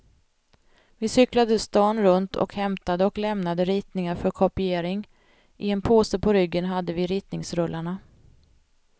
Vi cyklade stan runt och hämtade och lämnade ritningar för kopiering, i en påse på ryggen hade vi ritningsrullarna.